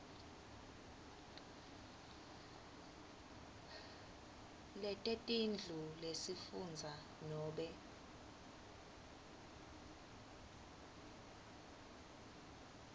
letetindlu lesifundza nobe